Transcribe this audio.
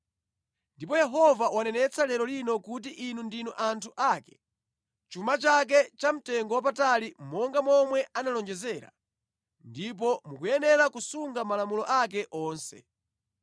Ndipo Yehova wanenetsa lero lino kuti inu ndinu anthu ake, chuma chake chamtengowapatali monga momwe analonjezera, ndipo mukuyenera kusunga malamulo ake onse.